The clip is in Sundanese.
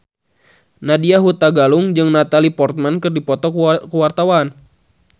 Nadya Hutagalung jeung Natalie Portman keur dipoto ku wartawan